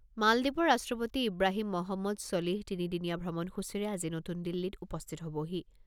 মালদ্বীপৰ ৰাষ্ট্ৰপতি ইব্ৰাহিম মহম্মদ ছলিহ তিনি দিনীয়া ভ্ৰমণসূচীৰে আজি নতুন দিল্লীত উপস্থিত হ'বহি।